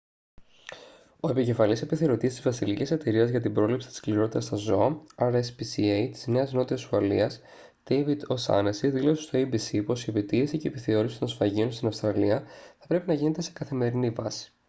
ο επικεφαλής επιθεωρητής της βασιλικής εταιρείας για την πρόληψη της σκληρότητας στα ζώα rspca της νέας νότιας ουαλίας ντέιβιντ ο' σάνεσσι δήλωσε στο abc πως η επιτήρηση και η επιθεώρηση των σφαγείων στην αυστραλία θα πρέπει να γίνεται σε καθημερινή βάση